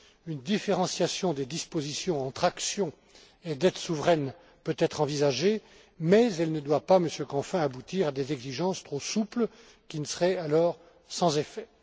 Une différenciation des dispositions entre actions et dette souveraine peut être envisagée, mais elle ne doit pas, Monsieur Canfin, aboutir à des exigences trop souples qui seraient alors sans effet.